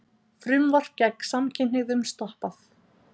Frumvarp gegn samkynhneigðum stoppað